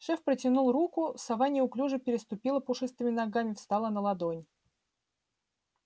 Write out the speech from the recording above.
шеф протянул руку сова неуклюже переступила пушистыми ногами встала на ладонь